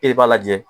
E de b'a lajɛ